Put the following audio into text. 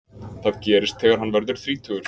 það gerist þegar hann verður þrítugur